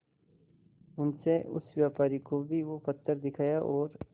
उनसे उस व्यापारी को भी वो पत्थर दिखाया और